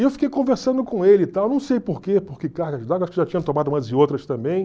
E eu fiquei conversando com ele e tal, não sei por quê, porque, cargas d'água acho que já tinha tomado umas e outras também.